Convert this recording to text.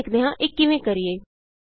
ਆਉ ਸਿੱਖਦੇ ਹਾਂ ਇਹ ਕਿਵੇਂ ਕਰੀਏ